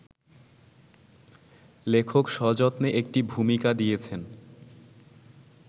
লেখক সযত্নে একটি ভূমিকা দিয়েছেন